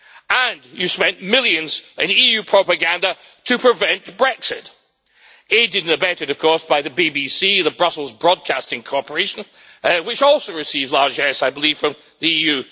And you spent millions on EU propaganda to prevent Brexit, aided and abetted of course by the BBC, the Brussels Broadcasting Corporation, which also receives largesse I believe from the EU.